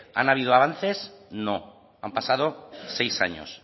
han avivado antes no han pasado seis años